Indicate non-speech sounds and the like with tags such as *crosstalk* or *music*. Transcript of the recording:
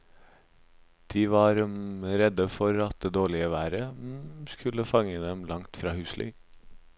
De var *hesitation* redde for at det dårlige været *hesitation* skulle fange dem langt fra husly.